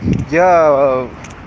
я